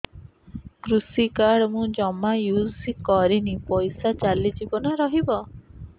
କୃଷି କାର୍ଡ ମୁଁ ଜମା ୟୁଜ଼ କରିନି ପଇସା ଚାଲିଯିବ ନା ରହିବ